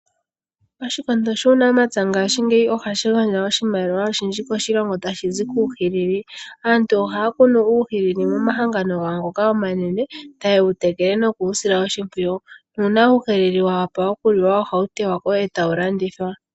Oshikondo shuunamapya ngaashingeyi ohashi gandja oshimaliwa oshindji koshilongo tashi zi kuuhilili. Aantu ohaya kunu uuhilili momahangano gawo ngoka omanene taye wutekele noku wu sila oshimpwiyu na uuna uuhilili wa wapa okuliwa ohawu te wa ko e tawu landithwa.